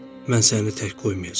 Mən səni tək qoymayacam.